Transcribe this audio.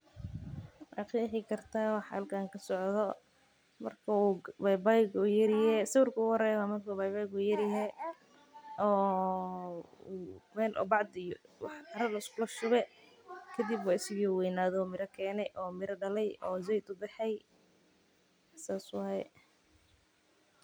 Ma qeexi kartaa waxa halkan kasocdo waa marka uu yaryahay oo meel wax liskugu shube saas waye.